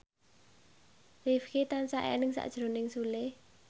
Rifqi tansah eling sakjroning Sule